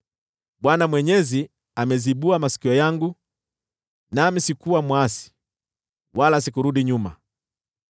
Bwana Mwenyezi amezibua masikio yangu, nami sikuwa mwasi, wala sikurudi nyuma.